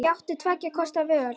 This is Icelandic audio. Ég átti tveggja kosta völ.